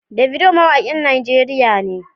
Davido mawakin Najeriya ne.